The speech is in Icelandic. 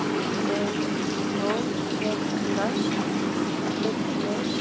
Guðrún Vignis.